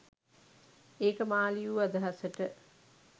ඒක මා ලියූ අදහසට.